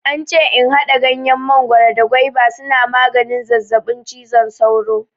Ance in haɗa ganyen mangoro da gwaiba suna maganin zazzaɓin cizon sauro.